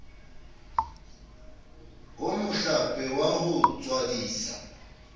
ho mohlape wa ho tswadisa